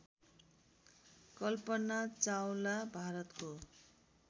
कल्पना चावला भारतको